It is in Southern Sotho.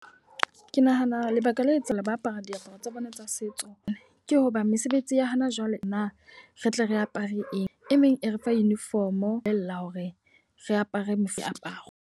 Ke nahana lebaka le etsang le ba apara diaparo tsa bona tsa setso. Ke hoba mesebetsi ya hana jwale na re tle re apare eng. E meng e re fa uniform o bolella hore re apare mefuta aparo.